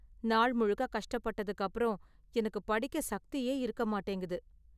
நாள் முழுக்க கஷ்டப்பட்டதுக்கு அப்பறம், எனக்கு படிக்க சக்தியே இருக்க மாட்டேங்குது.